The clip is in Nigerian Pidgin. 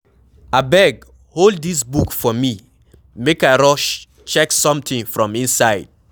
Abeg hold dis book for me make I rush check something from inside.